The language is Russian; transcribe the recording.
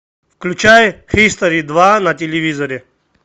включай хистори два на телевизоре